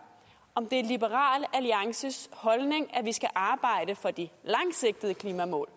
om det er liberal alliances holdning at vi skal arbejde for de langsigtede klimamål